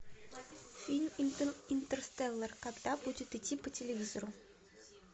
фильм интерстеллар когда будет идти по телевизору